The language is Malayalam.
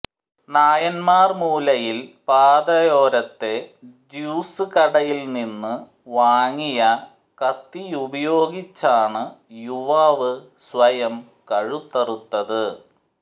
നായന്മാർമൂലയിൽ പാതയോരത്തെ ജ്യൂസ് കടയിൽനിന്നു വാങ്ങിയ കത്തിയുപയോഗിച്ചാണു യുവാവ് സ്വയം കഴുത്തറുത്ത്